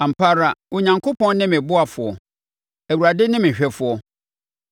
Ampa ara, Onyankopɔn ne me ɔboafoɔ; Awurade ne me hwɛfoɔ.